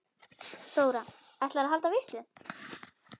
Þóra: Ætlar þú að halda veislu?